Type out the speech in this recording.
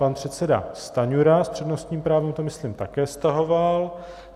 Pan předseda Stanjura s přednostním právem to myslím také stahoval.